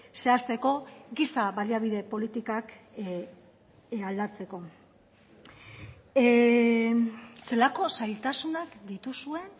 zehazteko giza baliabide politikak aldatzeko zelako zailtasunak dituzuen